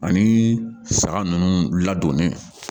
Ani saga ninnu ladonni